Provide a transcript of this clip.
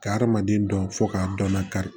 Ka hadamaden dɔn fo k'a dɔn nakari